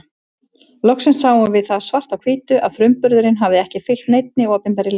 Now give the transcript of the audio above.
Loksins sáum við það svart á hvítu að frumburðurinn hafði ekki fylgt neinni opinberri línu.